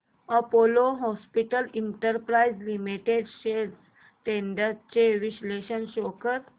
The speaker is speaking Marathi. Apollo Hospitals Enterprise Limited shares trends चे विश्लेषण शो कर